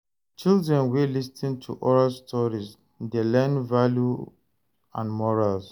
Children wey lis ten to oral stories dey learn values and morals.